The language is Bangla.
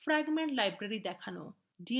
fragment library দেখানো